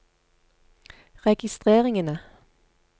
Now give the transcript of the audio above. registreringene